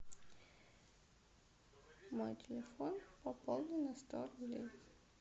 мой телефон пополни на сто рублей